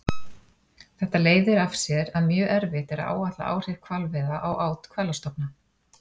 Þetta leiðir af sér að mjög erfitt er að áætla áhrif hvalveiða á át hvalastofna.